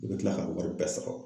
E be kila k'a wari bɛɛ sara